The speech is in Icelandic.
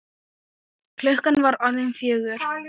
Klukkan var orðin fjögur.